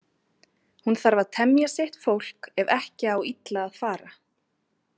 Hún þarf að temja sitt fólk ef ekki á illa að fara.